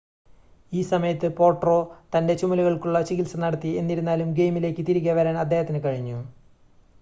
ഈ സമയത്ത് പോട്രോ തൻ്റെ ചുമലുകൾക്കുള്ള ചികിത്സ നടത്തി എന്നിരുന്നാലും ഗെയിമിലേക്ക് തിരികെ വരാൻ അദ്ദേഹത്തിന് കഴിഞ്ഞു